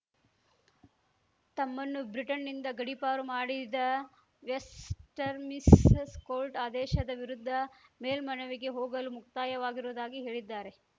ತಮ್ಮನ್ನು ಬ್ರಿಟನ್‌ನಿಂದ ಗಡೀಪಾರು ಮಾಡಿದ ವೆಸ್ಟರ್ ಮಿಸ್ಸಸ್ ಕೋರ್ಟ್‌ ಆದೇಶದ ವಿರುದ್ಧ ಮೇಲ್ಮನವಿಗೆ ಹೋಗಲು ಮುಕ್ತಯವಾಗಿರುವುದಾಗಿ ಹೇಳಿದ್ದಾರೆ